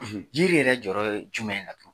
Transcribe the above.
Jiri yɛrɛ jɔyɔrɔ ye jumɛn ye tan?